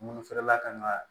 Munfɛrɛla kan ka